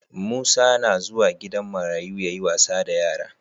Musa na zuwa gidan marayu yayi wasa da yara